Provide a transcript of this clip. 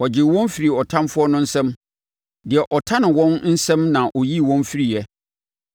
Ɔgyee wɔn firii ɔtamfoɔ no nsam; deɛ ɔtane wɔn nsam na ɔyii wɔn firiiɛ.